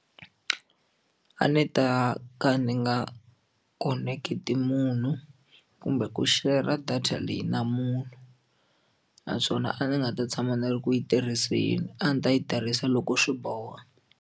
A ni ta ka ni nga khoneketi munhu kumbe ku share-ra data leyi na munhu naswona a ndzi nga ta tshama ndzi ri ku yi tirhiseni a ndzi ta yi tirhisa loko swi boha.